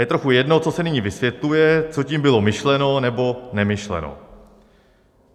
Je trochu jedno, co se nyní vysvětluje, co tím bylo myšleno nebo nemyšleno.